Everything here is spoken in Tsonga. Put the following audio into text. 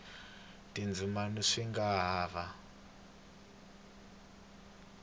tindzimana swi nga ha va